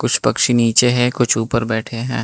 कुछ पक्षी नीचे हैं कुछ ऊपर बैठे हैं।